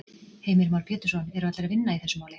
Heimir Már Pétursson: Eru allir að vinna í þessu máli?